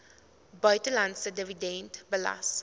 buitelandse dividend belas